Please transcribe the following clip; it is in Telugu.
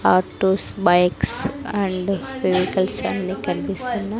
ఆటొస్ బైక్స్ అండ్ వెహికల్స్ అని కనిపిస్తున్న--